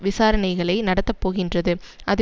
விசாரணைகளை நடத்தப்போகின்றது அது